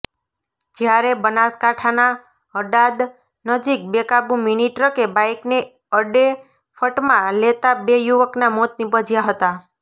જ્યારે બનાસકાંઠાના હડાદ નજીક બેકાબુ મીની ટ્રકે બાઈકને અડેફટમાં લેતાં બે યુવકનાં મોત નિપજ્યાં હતાં